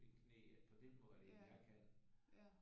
Mit knæ på den måde eller at jeg kan